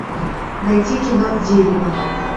найти кино дерево